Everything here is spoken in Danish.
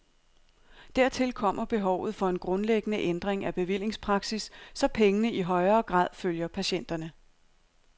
Dertil kommer behovet for en grundlæggende ændring af bevillingspraksis, så pengene i højere grad følger patienterne.